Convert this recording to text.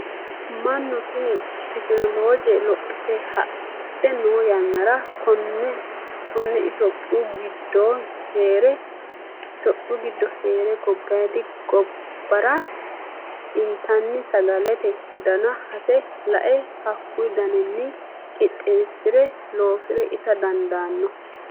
Mannu tene tekinolloje lophite hadhe no yannara kone itophiyu giddo heere gobbadi gobbara intanni sagalete dana hase lae hakku danini qixeesire loosire ita dandaano.